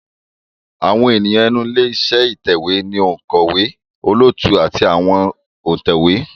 Àwọn ènìyàn inú ilé iṣẹ́ ìtẹ̀wé ni òǹkọ̀wé, olóòtú àti àwọn òǹtẹ̀wé